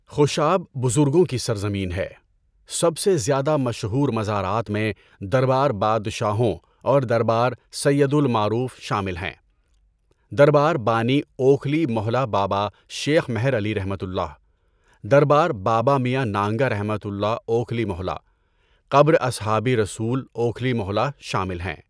خوشاب بزرگوں کی سرزمین ہے، سب سے زیادہ مشہور مزارات میں دربار بادشاہوں اور دربار سید المعروف شامل ہیں، دربار بانی اوکھلی موہلہ بابا شیخ مہر علیؒ، دربار بابا میاں نانگہؒ اوکھلی موہلہ، قبر اصحابی رسول اوکھلی موہلہ شامل ہیں۔